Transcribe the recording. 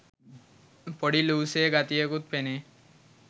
පොඩි ලූසේ ගතියකුත් පෙනේ.